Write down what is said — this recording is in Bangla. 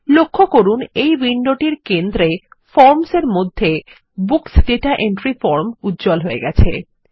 লক্ষ্য করুন এই উইন্ডোটির কেন্দ্রে ফর্মস এর মধ্যেBooks দাতা এন্ট্রি ফর্ম উজ্জ্বল হয়ে গেছে